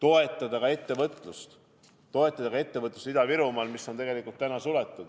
Samuti soovime toetada ettevõtlust, ka Ida-Virumaal, mis on praegu suletud.